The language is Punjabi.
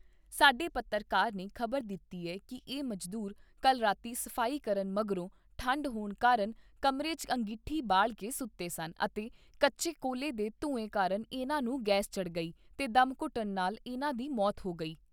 ਸਾਡੇ ਪੱਤਰਕਾਰ ਨੇ ਖ਼ਬਰ ਦਿੱਤੀ ਏ ਕਿ ਇਹ ਮਜ਼ਦੂਰ ਕੱਲ੍ਹ ਰਾਤੀਂ ਸਫ਼ਾਈ ਕਰਨ ਮਗਰੋਂ, ਠੰਢ ਹੋਣ ਕਾਰਨ ਕਮਰੇ 'ਚ ਅੰਗੀਠੀ ਬਾਲ ਕੇ ਸੁੱਤੇ ਸਨ ਅਤੇ ਕੱਚੇ ਕੋਲੇ ਦੇ ਧੂੰਏ ਕਾਰਨ ਇਨ੍ਹਾਂ ਨੂੰ ਗੈਸ ਚੜ੍ਹ ਗਈ ਤੇ ਡੈਮਘੁੱਟਣ ਨਾਲ ਇਨ੍ਹਾਂ ਦੀ ਮੌਤ ਹੋ ਗਈ।